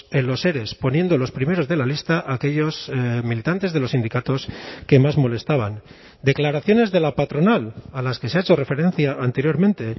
en los ere poniendo los primeros de la lista a aquellos militantes de los sindicatos que más molestaban declaraciones de la patronal a las que se ha hecho referencia anteriormente